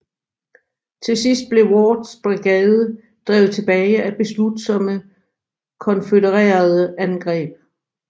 Til sidst blev Wards brigade drevet tilbage af beslutsomme konfødererede angreb